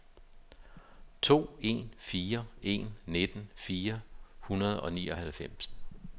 to en fire en nitten fire hundrede og nioghalvtreds